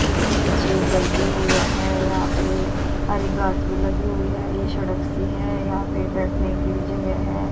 इसके पीछे घर भी हुआ है यहां पे हरी घास भी लगी हुई है ये सड़क सी है यहां पे बैठने की भी जगह है।